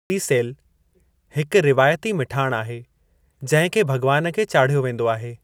रीसेलु, हिकु रिवायती मिठाणु आहे जिंहिं खे भग॒वानु खे चाढ़ियो वेंदो आहे।